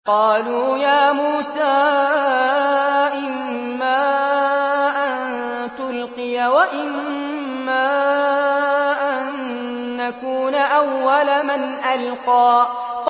قَالُوا يَا مُوسَىٰ إِمَّا أَن تُلْقِيَ وَإِمَّا أَن نَّكُونَ أَوَّلَ مَنْ أَلْقَىٰ